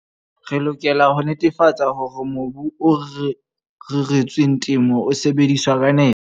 Re lokela ho netefatsa hore mobu o reretsweng temo o sebediswa ka nepo.